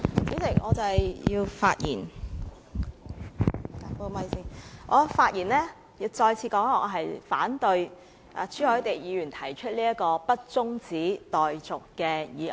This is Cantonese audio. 主席，我發言是要再次指出，我反對朱凱廸議員提出不中止待續的議案。